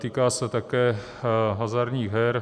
Týká se také hazardních her.